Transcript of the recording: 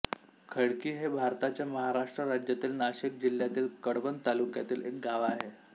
खडकी हे भारताच्या महाराष्ट्र राज्यातील नाशिक जिल्ह्यातील कळवण तालुक्यातील एक गाव आहे